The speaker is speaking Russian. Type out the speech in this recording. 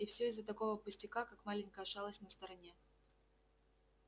и всё из-за такого пустяка как маленькая шалость на стороне